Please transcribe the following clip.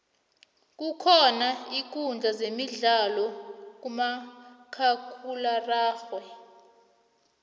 kukhona iinkudla zemidlalo khamakhakhulwararhe